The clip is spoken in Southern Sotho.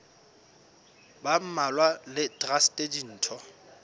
ba mmalwa le traste ditho